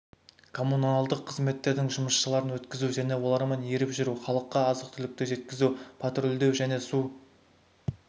коммуналдық қызметтердің жұмысшыларын өткізу және олармен еріп жүру халыққа азық-түлікті жеткізу патрульдеу және су